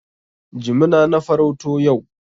Jimina na farauto yau.